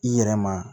I yɛrɛ ma